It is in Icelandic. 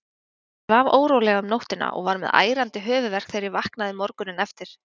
Ég svaf órólega um nóttina og var með ærandi höfuðverk þegar ég vaknaði morguninn eftir.